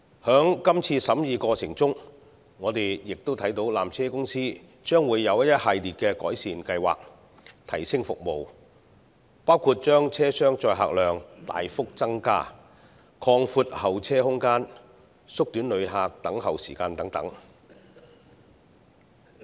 在今次審議過程中，我們亦看到纜車公司將會有一系列改善計劃，提升服務，包括把車廂載客量大幅增加、擴闊候車空間、縮短旅客等候時間等。